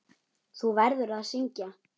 Þú verður að syngja.